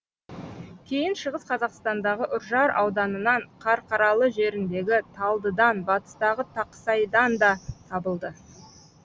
кейін шығыс қазақстандағы үржар ауданынан қарқаралы жеріндегі талдыдан батыстағы тақсайдан да табылды